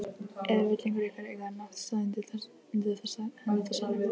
Eða vill einhver ykkar eiga náttstað undir henni þessari?